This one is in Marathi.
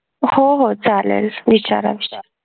हो हो चालेल विचारा विचारा